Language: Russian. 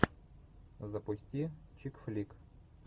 запусти чик флик